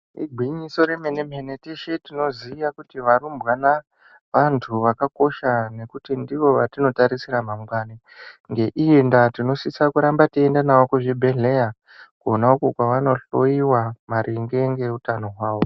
Igwinyiso remene-mene teshe tinoziya kuti varumbwana, vantu vakakosha nekuti ndivo vatinotarisira mangwani. Ngeiyi ndaa tinosisa kuramba teienda nawo kuzvibhedhleya kwona ukwo kwavanohlowiwa maringe ngeutano hwavo.